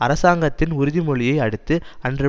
அரசாங்கத்தின் உறுதிமொழியை அடுத்து அன்று